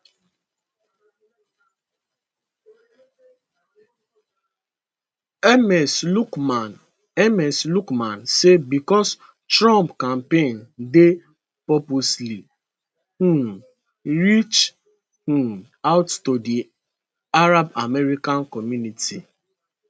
ms luqman ms luqman say becos trump campaign dey purposely um reach um out to di arab american community